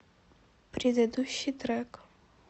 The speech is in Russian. предыдущий трек